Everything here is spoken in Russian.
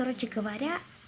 короче говоря